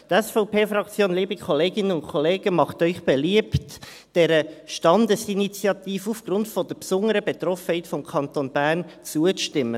Die SVP-Fraktion macht Ihnen beliebt, dieser Standesinitiative aufgrund der besonderen Betroffenheit des Kantons Bern zuzustimmen.